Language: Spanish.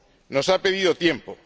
Nos ha pedido tiempo.